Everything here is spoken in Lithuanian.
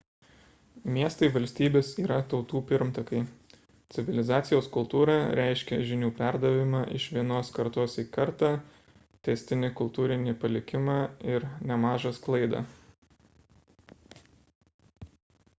miestai-valstybės yra tautų pirmtakai civilizacijos kultūra reiškia žinių perdavimą iš vienos kartos į kartą tęstinį kultūrinį palikimą ir nemažą sklaidą